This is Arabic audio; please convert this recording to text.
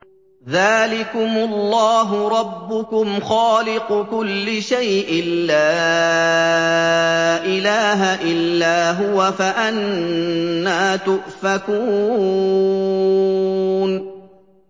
ذَٰلِكُمُ اللَّهُ رَبُّكُمْ خَالِقُ كُلِّ شَيْءٍ لَّا إِلَٰهَ إِلَّا هُوَ ۖ فَأَنَّىٰ تُؤْفَكُونَ